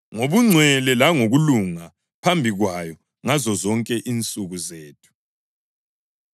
ngobungcwele langokulunga phambi kwayo ngazozonke insuku zethu.